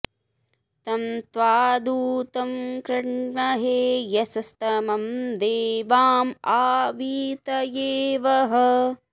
तं त्वा दूतं कृण्महे यशस्तमं देवाँ आ वीतये वह